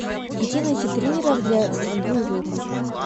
где найти тренеров для стрельбы из лука